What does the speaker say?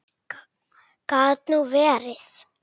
Gat nú verið!